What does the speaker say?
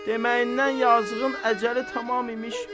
Deməyindən yazığın əcəli tamam imiş.